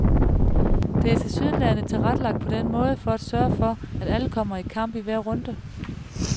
Det er tilsyneladende tilrettelagt på den måde for at sørge for, at alle kommer i kamp i hver runde.